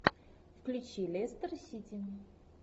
включи лестер сити